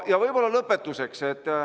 Ja võib-olla lõpetuseks.